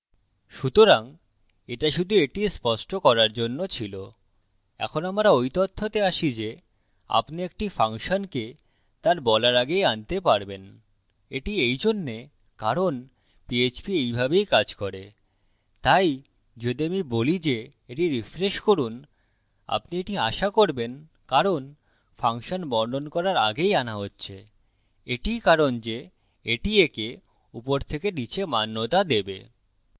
সুতরাং এটা শুধু এটি স্পষ্ট করার জন্য ছিল এই আমরা we তথ্যতে আসি যে আপনি একটি ফাংশনকে তার বলার আগেই আনতে পারবেন এটি এইজন্যে কারণ php এইভাবেই কাজ করে তাই যদি আমি বলি যে এটি refresh করুন আপনি এটি আশা করবেন কারণ ফাংশন বর্ণন করার আগেই আনা হচ্ছে এটিই কারণ যে এটি একে উপর থেকে নীচে মান্যতা দেবে